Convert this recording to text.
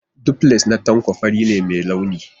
Duplex na Tanko fari ne mai launi.